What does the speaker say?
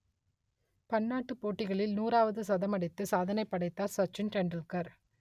பன்னாட்டுப் போட்டிகளில் நூறாவது சதமடித்து சாதனை படைத்தார் சச்சின் டெண்டுல்கர்